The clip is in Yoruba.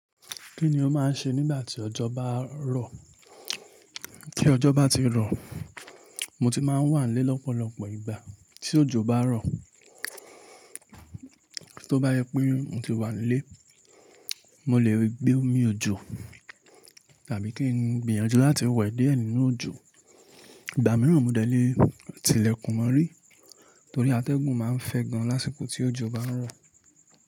Kí ni o máa ń ṣe nígbà tí òjò bá ń rọ̀? Kí òjò bá ti ń rọ̀, mo ti máa ń wà nílé lọ́pọ̀lọpọ̀ ìgbà. Tí òjò bá rọ̀, tó bá yẹ pé n o ti wà nílé, mo lè gbé omi òjò tàbí kí n gbìyànjú láti wè di ẹ ninù-òjò. Ìgbà mìíràn, mo dẹ́lé tilẹ̀kùn mọ́rí torí atẹ́gùn máa ń fẹ́ gan lásìkò tí òjò bá ń rọ̀.